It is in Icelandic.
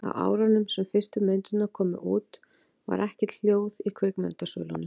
á árunum sem fyrstu myndirnar komu út var ekkert hljóð í kvikmyndasölunum